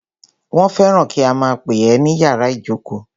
Wọ́n fẹ́ràn kí a máà pè é ní ìyàrá ìjókó.